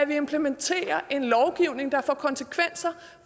vi implementerer en lovgivning der får konsekvenser